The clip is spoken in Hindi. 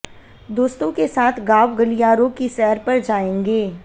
दोस्तों के साथ गांव गलियारों की सैर पर जाएंगे